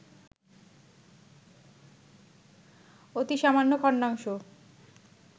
অতি সামান্য খন্ডাংশ